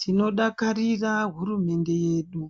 Tinodakarira hurumende yedu.